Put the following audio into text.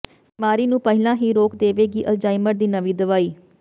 ਬਿਮਾਰੀ ਨੂੰ ਪਹਿਲਾਂ ਹੀ ਰੋਕ ਦੇਵੇਗੀ ਅਲਜ਼ਾਈਮਰ ਦੀ ਨਵੀਂ ਦਵਾਈ